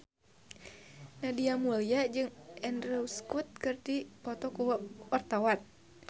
Nadia Mulya jeung Andrew Scott keur dipoto ku wartawan